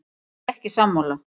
Ég er ekki sammála.